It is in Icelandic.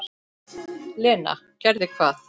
Lena: Gerði hvað?